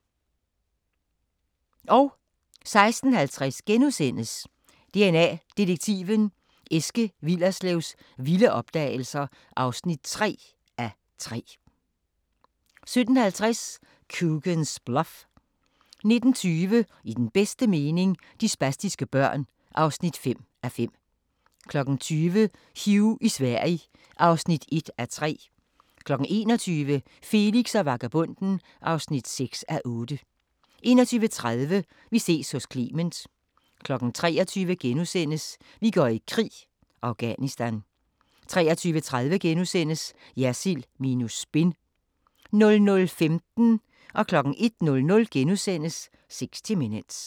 16:50: DNA Detektiven – Eske Willerslevs vilde opdagelser (3:3)* 17:50: Coogan's Bluff 19:20: I den bedste mening – de spastiske børn (5:5) 20:00: Hugh i Sverige (1:3) 21:00: Felix og vagabonden (6:8) 21:30: Vi ses hos Clement 23:00: Vi går i krig: Afghanistan * 23:30: Jersild minus spin * 00:15: 60 Minutes * 01:00: 60 Minutes *